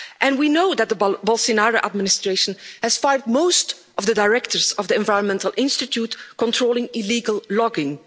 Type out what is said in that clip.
We also know that the Bolsonaro administration has fired most of the directors of the Environmental Institute controlling illegal logging.